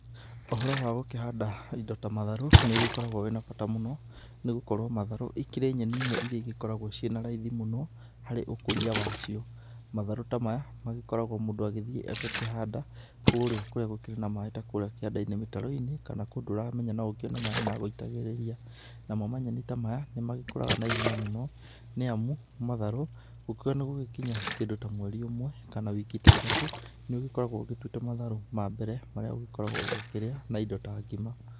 Ũhoro wa gũkĩhanda indo ta matharũ nĩũgĩkoragwo wĩna bata mũno, nĩgũkorwo matharũ ikĩrĩ nyeni imwe iria igĩkoragwo ciĩ na raithi mũno harĩ ũkũria wacio. Matharũ ta maya magĩkoragwo mũndũ agĩthiĩ agakĩhanda kũũrĩa kũrĩa gũkĩrĩ na maĩ ta kũrĩa kĩanda-inĩ mĩtaro-ini, kana kũndũ ũramenya no ukĩone maĩ ma gũitagĩrĩria. Namo manyeni ta maya nĩmagĩkuraga na ihenya mũno nĩamu matharũ gũkiuga nĩ gũgĩkinye kĩndũ ta mweri ũmwe kana wiki ta ithatũ, nĩũgĩkoragwo ũgĩtuĩte matharũ ma mbere marĩa ũgĩkoragwo ũgĩkĩrĩa na indo ta ngima.